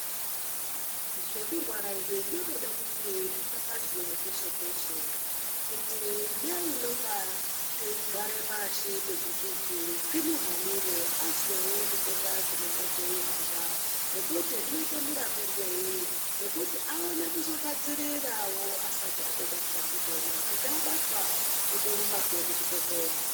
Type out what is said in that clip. Zvekurwara izvi zvinotoda kuti zvipapazhwe peshe peshe kuti neunonga eigare pashi pegukuku zvimuhanire azwewo zvitenda zvinonga zveihamba nekuti zvinoite murapirwei nekuti aone kuzogadzirirawo asati atobatwa ndizvona kuti abatwa otorumbezve kuchibhedhlera.